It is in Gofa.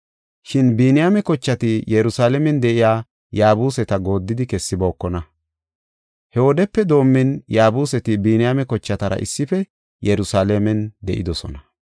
Shin Biniyaame kochati Yerusalaamen de7iya Yaabuseta gooddidi kessibookona. He wodepe doomin Yaabuseti Biniyaame kochatara issife Yerusalaamen de7idosona.